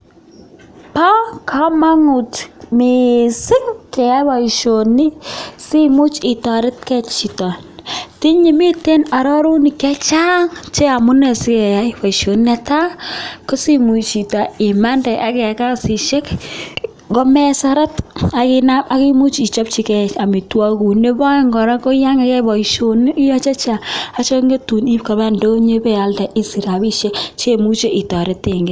Bo kamanut mising keyai boisioni simuch itoretkei chito, tinyei mitei arorutik chechang che amune sikeyai boisioni. Ne tai, ko simuch chito imande ak kiyai kasisisek komeseret ak imuch ichopchikei amitwokikuk. Nebo aeng kora, ko yo iyae boisioni, iyae chechang ak chekangetuun iip koba indonyo ipialde isiich rapishiek chemuche itoretenkei.